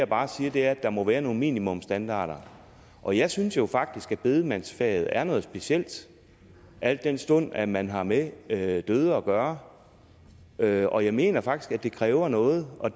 bare siger er at der må være nogle minimumsstandarder og jeg synes jo faktisk at bedemandsfaget er noget specielt al den stund at man har med med døde at gøre og jeg og jeg mener faktisk at det kræver noget og